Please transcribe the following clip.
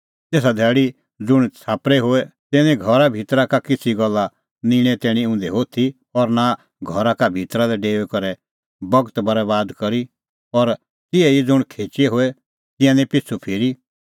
तेसा धैल़ी ज़ुंण छ़ाप्परै होए तिंयां निं घरा भितरा का किछ़ी गल्ला निंणे तैणीं उंधै होथी और नां घरा भितरा लै डेऊई करै बगत बरैबाद करी और तिहै ई ज़ुंण खेचै होए तिंयां निं पिछ़ू फिरी